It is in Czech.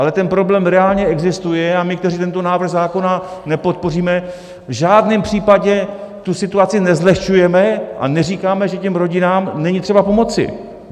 Ale ten problém reálně existuje a my, kteří tento návrh zákona nepodpoříme, v žádném případě tu situaci nezlehčujeme a neříkáme, že těm rodinám není třeba pomoci.